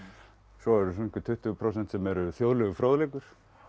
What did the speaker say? svo eru einhver tuttugu prósent sem er þjóðlegur fróðleikur